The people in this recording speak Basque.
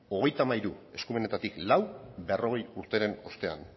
hogeita hamairu eskumenetatik lau berrogeita hamar urteren ostean